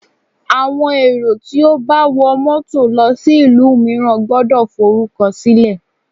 Àwọn èrò tí ó bá wọ mọ́tọ̀ lọ sí ìlú mìíràn gbọ́dọ̀ forúkọ sílẹ̀.